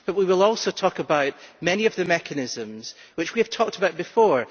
But we will also talk about many of the mechanisms, which we have talked about before.